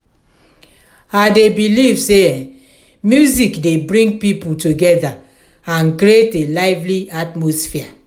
i dey believe say music dey bring people together and create a lively atmosphere.